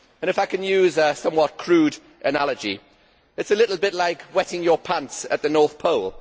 If I can use a somewhat crude analogy, it is a little bit like wetting your pants at the North Pole.